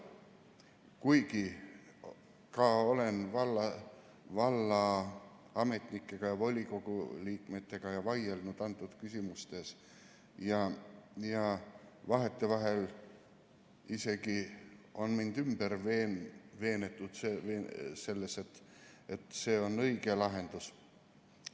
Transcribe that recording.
Kuigi olen vallaametnikega ja volikogu liikmetega vaielnud antud küsimustes ja vahetevahel isegi on mind õnnestunud veenda selles, et see on õige lahendus.